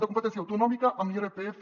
de competència autonòmica en l’irpf